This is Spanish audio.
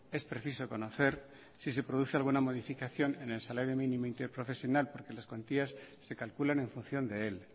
es preciso conocer si se produce alguna modificación en el salario mínimo interprofesional porque las cuantías se calculan en función de él